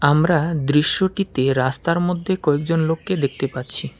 আমরা দৃশ্যটিতে রাস্তার মদ্যে কয়েকজন লোককে দেখতে পাচ্ছি।